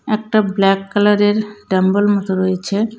একটা ব্ল্যাক কালারের ডাম্বল মতো রয়েছে .